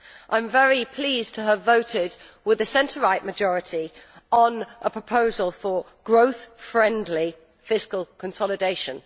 I am very pleased to have voted with the centre right majority on a proposal for growth friendly fiscal consolidation.